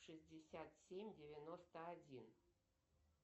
шестьдесят семь девяносто один